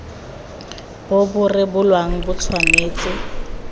bo bo rebolang bo tshwanetse